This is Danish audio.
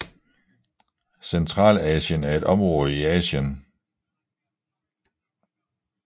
Centralasien er et område i Asien